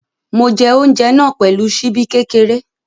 Mo jẹ oúnjẹ náà pẹ̀lú ṣíbí kékeré.